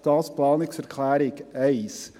Soviel zur Planungserklärung 1.